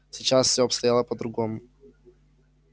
сейчас всё обстояло по-другому